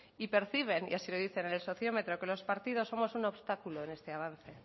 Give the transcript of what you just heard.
y perciben y así lo dice en el sociómetro que los partidos somos un obstáculo en este avance